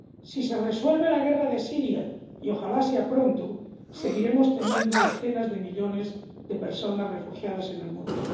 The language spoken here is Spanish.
Si se resuelve la guerra de Siria —y ojalá sea pronto— seguiremos teniendo decenas de millones de personas refugiadas en el mundo.